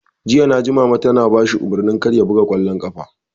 Jiya naji Mama tana bashi umarnin kar ya buga ƙwallon ƙafa!